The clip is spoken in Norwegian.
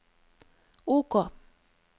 OK